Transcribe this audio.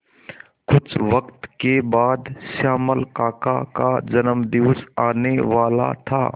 कुछ वक्त के बाद श्यामल काका का जन्मदिवस आने वाला था